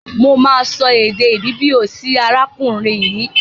Mo máa so èdè Ìbìbìò sí arákùrin yìí.